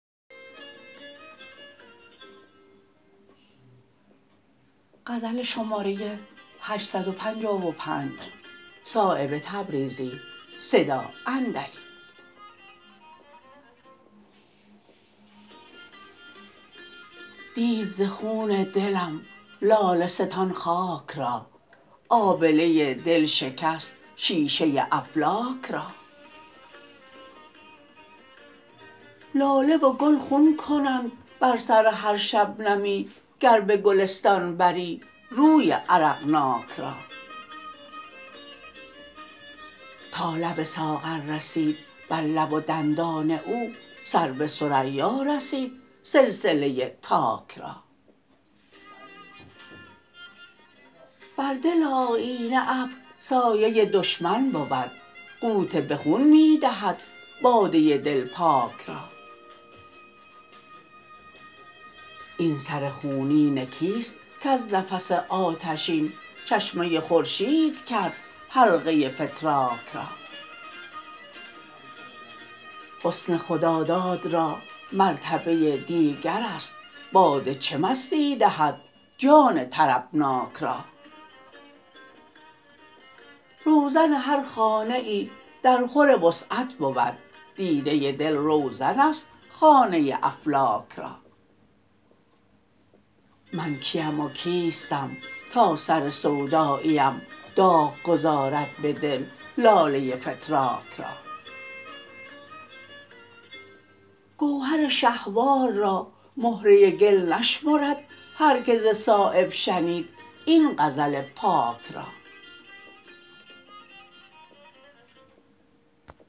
دید ز خون دلم لاله ستان خاک را آبله دل شکست شیشه افلاک را لاله و گل خون کنند بر سر هر شبنمی گر به گلستان بری روی عرقناک را تا لب ساغر رسید بر لب و دندان او سر به ثریا رسید سلسله تاک را بر دل آیینه ابر سایه دشمن بود غوطه به خون می دهد باده دل پاک را این سر خونین کیست کز نفس آتشین چشمه خورشید کرد حلقه فتراک را حسن خداداد را مرتبه دیگرست باده چه مستی دهد جان طربناک را روزن هر خانه ای در خور وسعت بود دیده دل روزن است خانه افلاک را من کیم و کیستم تا سر سوداییم داغ گذارد به دل لاله فتراک را گوهر شهوار را مهره گل نشمرد هر که ز صایب شنید این غزل پاک را